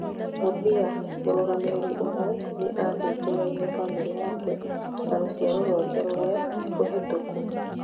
mũthia- mũrangĩri ũmwe nĩathuthuragio bamĩrĩ yake na ruciaro rwake rũria ruhĩtũku